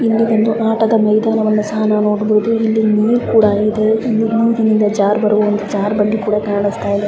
ಇಲ್ಲಿ ಒಂದು ಆಟದ ಮೈದಾನವನ್ನ ಸಹ ನಾವು ನೋಡಬಹುದು ಜರ್ಬಂಡೆ ಕೂಡ ಕಾಣುಸ್ತಾಇದೆ .